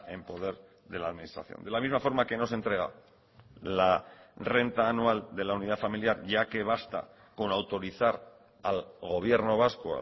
en poder de la administración de la misma forma que no se entrega la renta anual de la unidad familiar ya que basta con autorizar al gobierno vasco